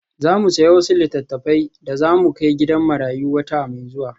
Za mu sayi wasu littattafai da za mu kai gidan marayu wata mai zuwa.